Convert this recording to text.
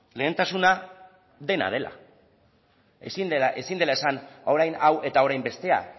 lehentasuna dena dela ezin dela esan orain hau eta orain bestea